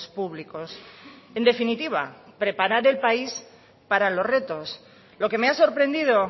públicos en definitiva preparar el país para los retos lo que me ha sorprendido